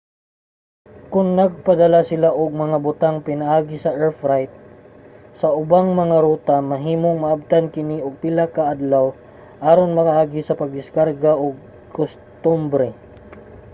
kon nagpadala sila og mga butang pinaagi sa air freight sa ubang mga ruta mahimong maabtan kini og pila ka adlaw aron makaagi sa pagdiskarga ug kostumbre